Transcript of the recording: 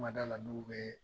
Man d'a la n'u bɛ